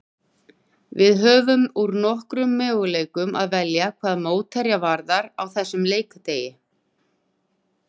Við höfðum úr nokkrum möguleikum að velja hvað mótherja varðaði á þessum leikdegi.